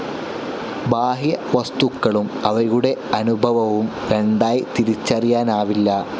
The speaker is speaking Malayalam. ബാഹ്യവസ്തുക്കളും അവയുടെ അനുഭവവും രണ്ടായി തിരിച്ചറിയാനാവില്ല.